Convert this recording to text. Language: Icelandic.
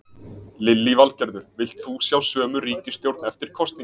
Lillý Valgerður: Vilt þú sjá sömu ríkisstjórn eftir kosningar?